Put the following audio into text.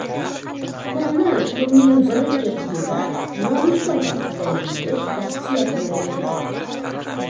Tuxumni kunning birinchi qismida nonushta vaqtida yeyish tavsiya qilinadi.